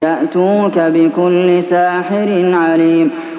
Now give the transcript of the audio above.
يَأْتُوكَ بِكُلِّ سَاحِرٍ عَلِيمٍ